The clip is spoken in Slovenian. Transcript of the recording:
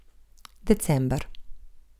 December.